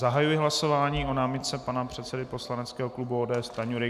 Zahajuji hlasování o námitce pana předsedy poslaneckého klubu ODS Stanjury.